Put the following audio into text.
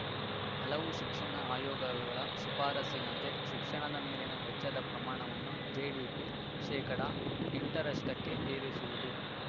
ಹಲವು ಶಿಕ್ಷಣ ಆಯೋಗಗಳ ಶಿಫಾರಸ್ಸಿನಂತೆ ಶಿಕ್ಷಣದ ಮೇಲಿನ ವೆಚ್ಚದ ಪ್ರಮಾಣವನ್ನು ಜಿಡಿಪಿಯ ಶೇಕಡಾ ಎಂಟರಷ್ಟಕ್ಕೆ ಏರಿಸುವುದು